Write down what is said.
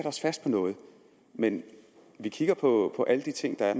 os fast på noget men vi kigger på alle de ting der er